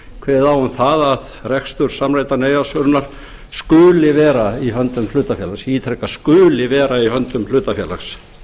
kveðið á um það að rekstur samræmdrar neyðarsvörunar skuli vera í höndum hlutafélags ég ítreka skuli vera höndum hlutafélags